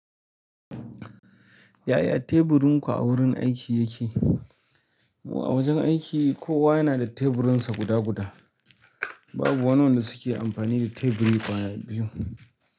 Yaya teburin ku a wurin aiki yake? A wajen aiki kowa yana da teburinsa guda guda. Babu wanda suke amfani da teburi ƙwaya biyu.